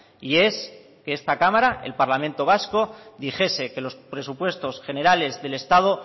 y es que esta cámara el parlamento vasco dijese que los presupuestos generales del estado